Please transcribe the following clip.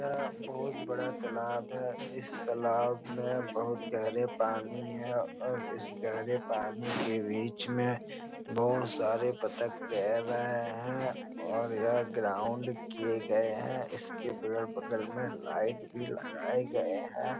यह बहुत बड़ा तालाब है इस तालाब में बहुत गहरे पानी हैं और इस गहरे पानी के बीच में बहुत सारे बत्तख तैर रहे हैं और यह ग्राउंड किये गए हैं इसके बगल-बगल में लाइट भी लगाए गए हैं।